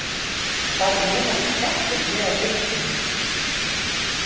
Hvað eru margir kettir hér á Reykjum?